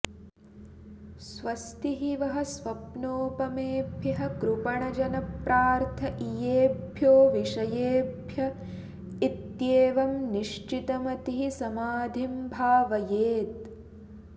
स्वस्ति वः स्वप्नोपमेभ्यः कृपणजनप्रार्थईयेभ्यो विषयेभ्य इत्येवं निश्चितमतिः समाधिं भावयेत